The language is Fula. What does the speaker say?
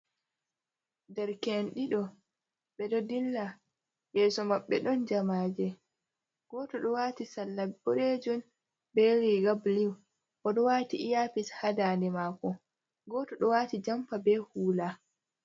Ɗerke'en ɗiɗo ɓe ɗo dilla,, yeso maɓɓe ɗon jamaje, goto ɗo wati salla boɗejum be riga blu oɗo wati iapis ha dande mako, goto ɗo wati jompa be hula.